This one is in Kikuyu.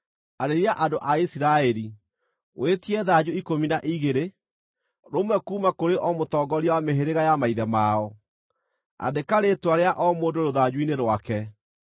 “Arĩria andũ a Isiraeli, wĩtie thanju ikũmi na igĩrĩ, rũmwe kuuma kũrĩ o mũtongoria wa mĩhĩrĩga ya maithe mao. Andĩka rĩĩtwa rĩa o mũndũ rũthanju-inĩ rwake.